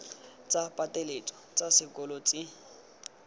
tsa pateletso tsa sekolo tse